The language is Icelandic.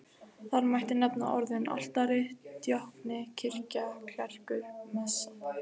Þar mætti nefna orðin altari, djákni, kirkja, klerkur, messa.